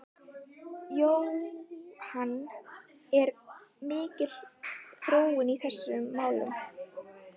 Jóhann, er mikil þróun í þessum málum?